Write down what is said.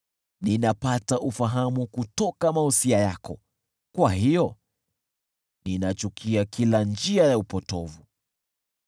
Ninapata ufahamu kutoka mausia yako, kwa hiyo ninachukia kila njia ya upotovu.